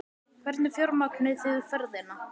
Hvernig fjármagnið þið ferðina?